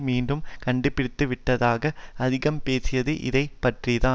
மீண்டும் கண்டுபிடித்துவிட்டதாக அதிகம் பேசியது இதை பற்றி தான்